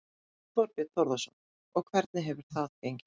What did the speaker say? Þorbjörn Þórðarson: Og hvernig hefur það gengið?